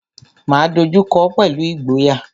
Máa dojú kọọ́ pẹ̀lú ìgboyà.